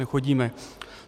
Nechodíme.